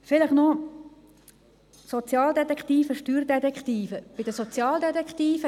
Vielleicht noch eine Bemerkung zu Sozialdetektiven und Steuerdetektiven.